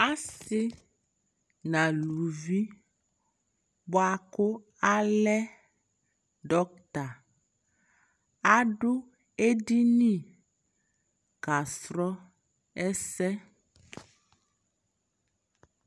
asii nʋ alʋvi bʋakʋ alɛ doctor adʋ ɛdini ka srɔ ɛsɛ